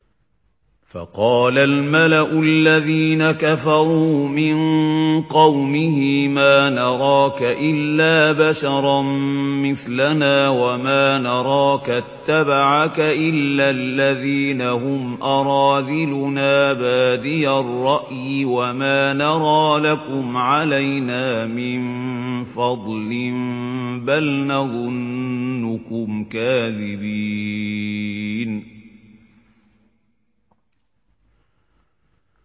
فَقَالَ الْمَلَأُ الَّذِينَ كَفَرُوا مِن قَوْمِهِ مَا نَرَاكَ إِلَّا بَشَرًا مِّثْلَنَا وَمَا نَرَاكَ اتَّبَعَكَ إِلَّا الَّذِينَ هُمْ أَرَاذِلُنَا بَادِيَ الرَّأْيِ وَمَا نَرَىٰ لَكُمْ عَلَيْنَا مِن فَضْلٍ بَلْ نَظُنُّكُمْ كَاذِبِينَ